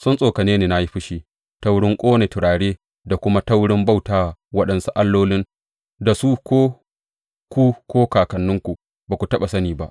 Sun tsokane ni na yi fushi ta wurin ƙone turare da kuma ta wurin bauta wa waɗansu allolin da su ko ku ko kakanninku ba su taɓa sani ba.